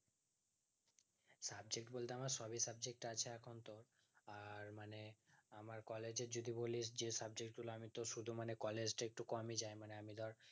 subject বুলতে আমার সবই subject আছে এখন তো আর মানে আমার collage এ যদি বলিস যে subject গুলো আমি তোর শুধু মানে collage তা একটু কমই যাই মানে আমি ধর